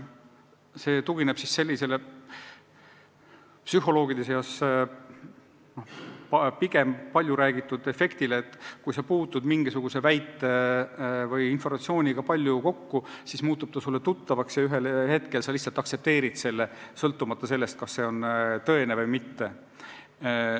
See tugineb sellisele psühholoogide seas hästi teada efektile, et kui sa puutud mingisuguse väite või informatsiooniga palju kokku, siis muutub see sulle tuttavaks ja ühel hetkel sa lihtsalt aktsepteerid selle, sõltumata sellest, kas see on tõene või mitte.